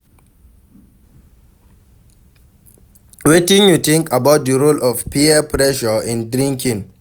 Wetin you think about di role of peer pressure in drinking?